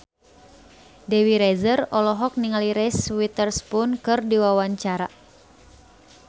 Dewi Rezer olohok ningali Reese Witherspoon keur diwawancara